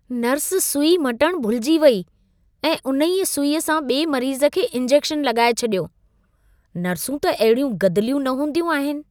Nurse सुई मटणु भुलिजी वई ऐं उनहींअं सुईअ सां ॿिए मरीज़ खे इन्जेक्शन लॻाए छॾियो। नर्सूं त अहिड़ियूं गदिलियूं न हूंदियूं आहिन।